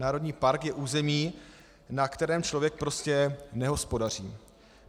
Národní park je území, na kterém člověk prostě nehospodaří.